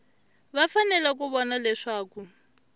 va fanele ku vona leswaku